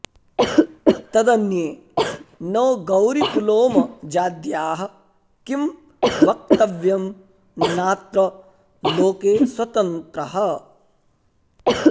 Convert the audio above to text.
तदन्ये नो गौरिपुलोम जाद्याः किं वक्तव्यं नात्र लोके स्वतन्त्रः